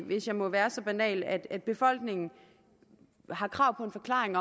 hvis jeg må være så banal at befolkningen har krav på en forklaring